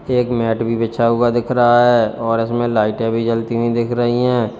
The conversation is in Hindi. एक मैट भी बिछा हुआ दिख रहा है और इसमें लाइटें भी जलती हुई दिख रही हैं।